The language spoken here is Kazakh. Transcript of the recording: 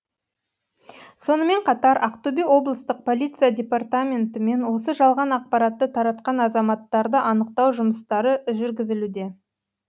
сонымен қатар ақтөбе облыстық полиция департаментімен осы жалған ақпаратты таратқан азаматтарды анықтау жұмыстары жүргізілуде